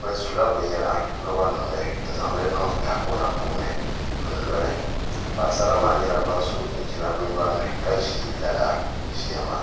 bi sula binyɛra roba nim ni n zaŋli niŋ tahapona puuni n loli paɣasara maa nyɛla ban so chinchinan bi nyori ni ka ʒi lala ʒiya maa